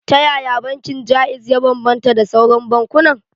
Ta yaya bankin Jaiz ya bambanta da sauran bankunan?